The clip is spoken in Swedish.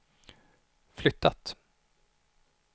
flyttat